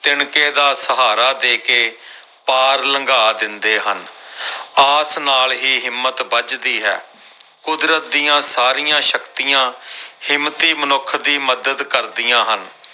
ਤਿਣਕੇ ਦਾ ਸਹਾਰਾ ਦੇ ਕੇ ਪਾਰ ਲੰਘਾ ਦਿੰਦੇ ਹਨ ਆਸ ਨਾਲ ਹੀ ਹਿੰਮਤ ਬੱਝਦੀ ਹੈ ਕੁਦਰਤ ਦੀਆਂ ਸਾਰੀਆਂ ਸ਼ਕਤੀਆਂ ਹਿੰਮਤੀ ਮਨੁੱਖ ਦੀ ਮਦਦ ਕਰਦੀਆਂ ਹਨ।